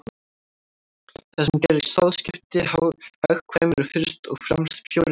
Það sem gerir sáðskipti hagkvæm eru fyrst og fremst fjórir þættir.